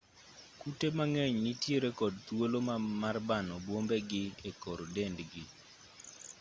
kute mang'eny nitiere kod thuolo mar bano bwombegi e kor dendgi